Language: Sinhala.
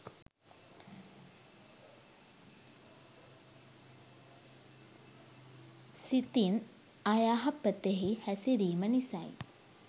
සිතින් අයහපතෙහි හැසිරීම නිසයි.